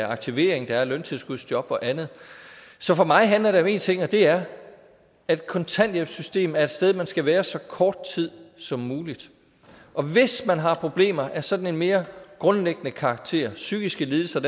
aktivering der er løntilskudsjob og andet så for mig handler det ting og det er at kontanthjælpssystemet er et sted man skal være så kort tid som muligt og hvis man har problemer af sådan en mere grundlæggende karakter psykiske lidelser